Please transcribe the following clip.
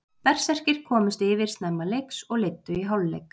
Berserkir komust yfir snemma leiks og leiddu í hálfleik.